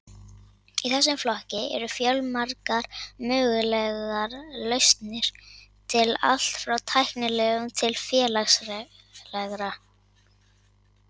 Í þessum flokki eru fjölmargar mögulegar lausnir til, allt frá tæknilegum til félagslegra.